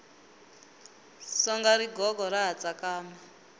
songa rigogo ra ha tsakama